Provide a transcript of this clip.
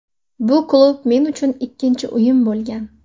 Bu klub men uchun ikkinchi uyim bo‘lgan.